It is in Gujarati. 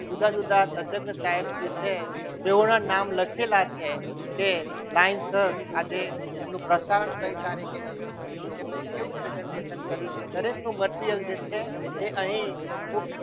જુદા જુદા તજજ્ઞ સાહેબ જે છે તેઓના નામ લખેલા છે કે લાઈનસરઆજે એમનું પ્રસારણ કઈ તારીખે હતું તેમને કેવું presentation કર્યું છે તેટલું material જે છે તે અહીં મૂકી